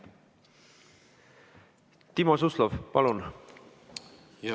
Timo Suslov, palun!